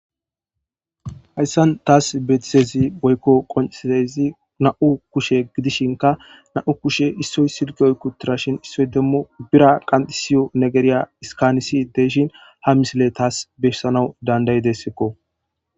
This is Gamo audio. Hayssan taas betitezi woykko qoncezi na7u kushe gidishinka nau kushe issoy silgi oy kutirashin issoy demmu bira qanxisiyo negeriya iskanisi deeshin ha misile taas beshsanawu dandayi dessekko.